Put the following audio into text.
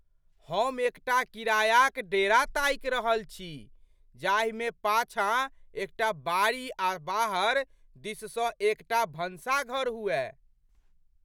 हम एक टा किरायाक डेरा ताकि रहल छी जाहिमे पाछाँ एक टा बाड़ी आ बाहर दिससँ एक टा भनसाघर हुअय।